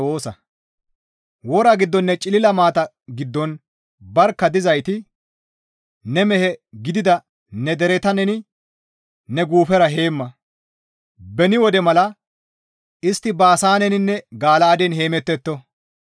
Wora giddoninne cilila maata giddon barkka dizayti ne mehe gidida ne dereta neni ne guufera heemma; beni wode mala istti Baasaaneninne Gala7aaden heemettetto.